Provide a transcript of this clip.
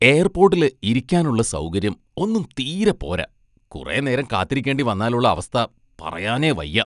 എയർപോട്ടിലെ ഇരിക്കാനുള്ള സൗകര്യം ഒന്നും തീരെ പോര, കുറേ നേരം കാത്തിരിക്കേണ്ടി വന്നാലുള്ള അവസ്ഥ പറയാനേ വയ്യ.